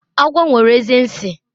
agwo nwere eze nsi